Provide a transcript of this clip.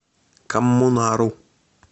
коммунару